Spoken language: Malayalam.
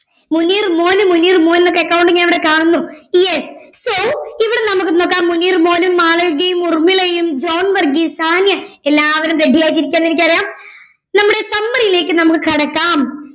മുനീർ മോൻ മുനീർ മോൻ ഒക്കെ account ഞാനിവിടെ കാണുന്നു yes so ഇവിടെ നമുക്ക് നോക്കാം മുനീർ മോനും മാളവികയും ഉർമ്മിളയും ജോൺ വർഗീസ് സാനിയ എല്ലാവരും ready ആയിട്ട് ഇരിക്കാന്ന് എനിക്ക് അറിയാം നമ്മുടെ summary യിലേക്ക് നമുക്ക് കടക്കാം